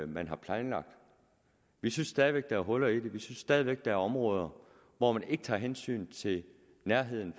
man har planlagt vi synes stadig væk at der er huller i den vi synes stadig væk at der er områder hvor man ikke tager hensyn til nærheden